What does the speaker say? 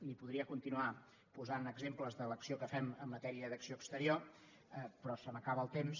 li podria continuar posant exemples de l’acció que fem en matèria d’acció exterior però se m’acaba el temps